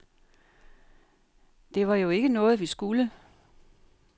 Det var jo ikke noget, vi skulle.